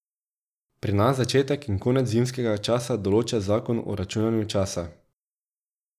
Pri nas začetek in konec zimskega časa določa zakon o računanju časa.